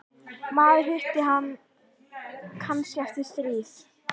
Maður hittir hann kannski eftir stríð.